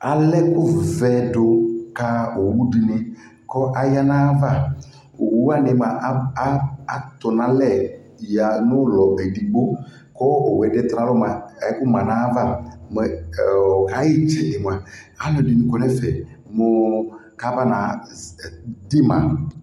Alɛ ɛkuvɛ la owu de ne ko aya navaOwu wane moa ato nalɛ yaha no ulɔ edigbo ko ɛdeɛ tɔ nalɔ moa ɛku ma navaƐ, ɔ, kaye tsele moa alɛde ne kɔ nɛfɛ moo ka ba na z, ɛ, dema